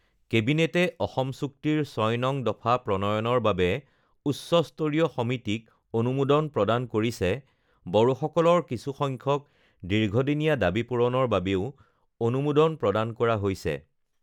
কেবিনেটে অসম চুক্তিৰ ৬ নং দফা প্ৰণয়নৰ বাবে উচ্চস্তৰীয় সমিতিক অনুমোদন প্ৰদান কৰিছে বড়োসকলৰ কিছুসংখ্যক দীৰ্ঘদিনীয়া দাবী পূৰণৰ বাবেও অনুমোদন প্ৰদান কৰা হৈছে